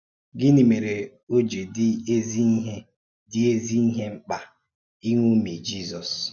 Gínị̀ mèré ó ji dị́ ezí-ìhè dị́ ezí-ìhè mkpa íṅòmí Jízọ́s?